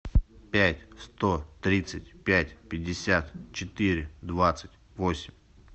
пять сто тридцать пять пятьдесят четыре двадцать восемь